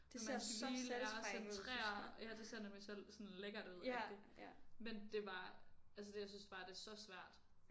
Men man skal lige lære at centrere ja det ser nemlig selv sådan lækkert ud rigtig men det var altså det jeg synes bare det er så svært